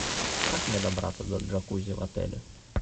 как мне добраться до джакузи в отеле